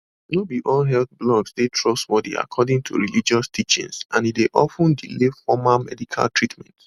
no be all health blogs dey trustworthy according to religious teachings and e dey of ten delay formal medical treatment